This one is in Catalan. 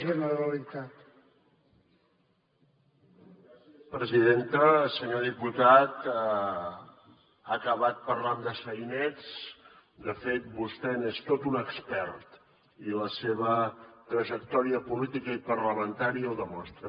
senyor diputat ha acabat parlant de sainets de fet vostè n’és tot un expert i la seva trajectòria política i parlamentària ho demostra